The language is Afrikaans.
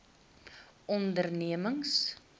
ondernemings